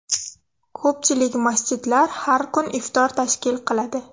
Ko‘pchilik masjidlar har kun iftor tashkil qiladi.